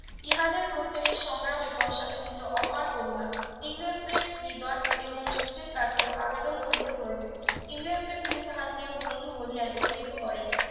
ইহাদের প্রত্যেকের সংগ্রামের পশ্চাতে ছিল অপার করুণা ইংরেজদের হৃদয় এবং যুক্তির কাছে আবেদন করিতে হইবে ইংরেজদের তিনি তাহার প্রিয় বন্ধু বলিয়ায় অভিহিত করেন